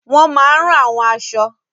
Wọ́n máa n rán àwọn aṣọ